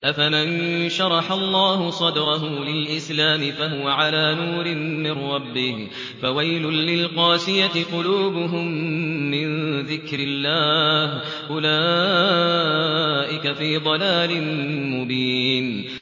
أَفَمَن شَرَحَ اللَّهُ صَدْرَهُ لِلْإِسْلَامِ فَهُوَ عَلَىٰ نُورٍ مِّن رَّبِّهِ ۚ فَوَيْلٌ لِّلْقَاسِيَةِ قُلُوبُهُم مِّن ذِكْرِ اللَّهِ ۚ أُولَٰئِكَ فِي ضَلَالٍ مُّبِينٍ